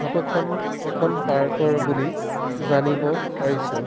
Photo খন এখন park ৰ বুলি জানিব পাৰিছো।